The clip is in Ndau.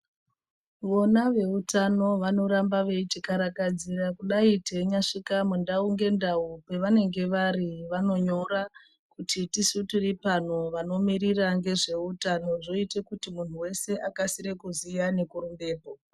Vona veutano, vanoramba veiti karakadzira kudai teinya svika mundau ngendau. Pavanenge vari vano nyora kuti tisu tiri pano vano mirira ngezve utano. Zvoite kuti munhu wese akasire kuziya neku rumbepo.